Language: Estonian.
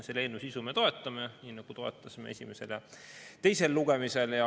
Selle eelnõu sisu me toetame, nagu toetasime esimesel ja teisel lugemisel.